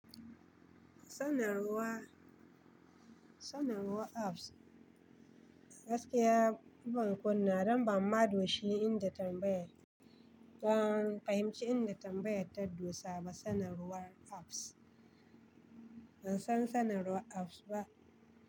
Sanarwar, sanarwar apps gaskiya ban kunnawa don ban mado shi inda tambaya, ban fahimci inda tambayar ta dosa ba sanarwar apps, ban san sanarwar apps ba.